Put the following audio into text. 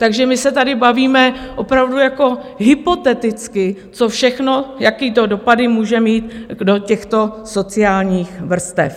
Takže my se tady bavíme opravdu jako hypoteticky, co všechno, jaké to dopady může mít do těchto sociálních vrstev.